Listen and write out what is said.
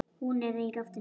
Í loftinu er ennþá ball.